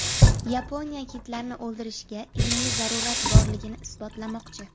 Yaponiya kitlarni o‘ldirishga ilmiy zarurat borligini isbotlamoqchi.